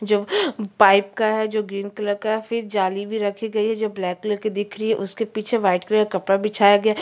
जो पाइप का है जो ग्रीन कलर का है फिर जाली भी रखी गई है जो ब्लैक कलर की दिख रही है उसके पीछे वाइट कलर का कपड़ा बिछाया गया है ।